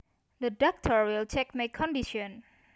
The doctor will check my condition